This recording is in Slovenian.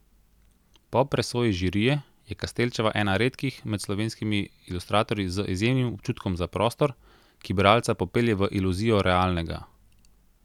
Po presoji žirije je Kastelčeva ena redkih med slovenskimi ilustratorji z izjemnim občutkom za prostor, ki bralca popelje v iluzijo realnega.